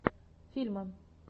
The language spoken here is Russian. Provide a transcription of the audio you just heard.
фильмы